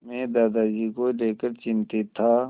मैं दादाजी को लेकर चिंतित था